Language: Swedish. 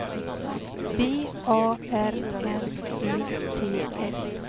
B A R N E T S